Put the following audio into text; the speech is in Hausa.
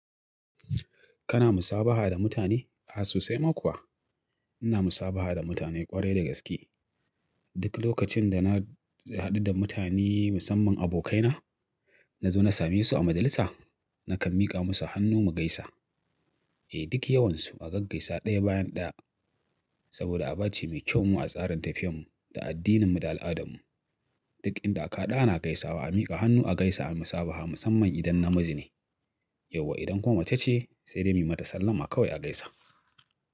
Kana musabaha da mutane? A susai ma kuwa. Ina musabaha da mutane kwarai da gaske. Duk lokacin da na haɗu da mutane musamman abokaina, na zo na same su a majalisa nakan miƙa musu hannu mu gaisa. Eh duk yawansu a gaggaisa ɗaya bayan ɗaya. Saboda aba ce mai kyau mu a tsarin tafiyar mu da addinin mu da al'adar mu. Duk inda aka hadu ana gaisawa a miƙa hannu a gaisa a musabaha musamman idan namiji ne. Yauwa idan kuma mace ce sai dai mi mata sallama kawai a gaisa.